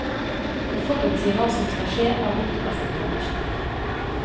Å forutsi hva som skal skje er bortkastet energi.